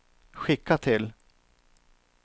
skicka till